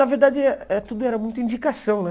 Na verdade, eh tudo era muita indicação, né?